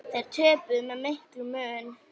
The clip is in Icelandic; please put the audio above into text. Þeir töpuðu með miklum mun.